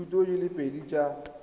dithuto di le pedi tsa